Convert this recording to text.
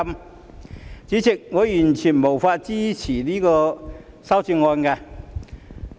代理主席，我完全無法支持這些修正案。